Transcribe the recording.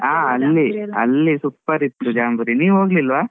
ಹಾ ಅಲ್ಲಿ, ಅಲ್ಲಿ super ಇತ್ತು ಜಾಂಬೂರಿ ನೀವ್ ಹೋಗ್ಲಿಲ್ವಾ?